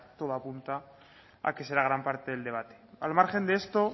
todo apunta a que será gran parte del debate al margen de esto